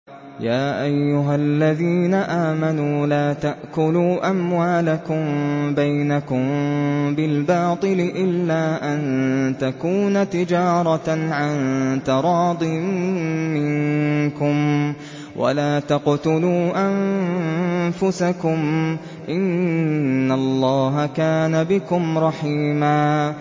يَا أَيُّهَا الَّذِينَ آمَنُوا لَا تَأْكُلُوا أَمْوَالَكُم بَيْنَكُم بِالْبَاطِلِ إِلَّا أَن تَكُونَ تِجَارَةً عَن تَرَاضٍ مِّنكُمْ ۚ وَلَا تَقْتُلُوا أَنفُسَكُمْ ۚ إِنَّ اللَّهَ كَانَ بِكُمْ رَحِيمًا